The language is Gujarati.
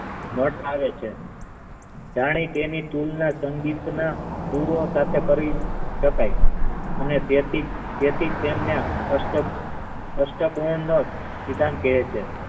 મેટ આવે છે જાણે તેની કિનસંગીતના શકાય અને તેથી તેથી તેમને અષ્ટક અષ્ટકવર્ણન વિધાન કહે છે.